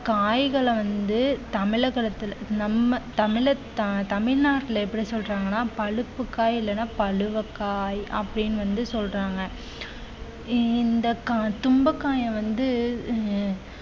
காய்கள வந்து தமிழகத்துல நம்ம தமிழத்~ த~ தமிழ்நாட்டுல எப்படி சொல்றாங்கன்னா பழுப்புக்காய் இல்லைன்னா பழுவக்காய் அப்படின்னு வந்து சொல்றாங்க இந்த கா~ துன்பக்காய வந்து அஹ்